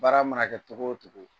Baara mana kɛ togo o togo